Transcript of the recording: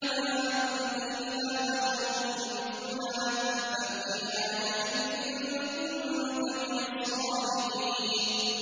مَا أَنتَ إِلَّا بَشَرٌ مِّثْلُنَا فَأْتِ بِآيَةٍ إِن كُنتَ مِنَ الصَّادِقِينَ